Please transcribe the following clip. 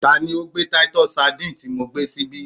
Ta ni o gbé Titus Sandine ti mo gbé síbí?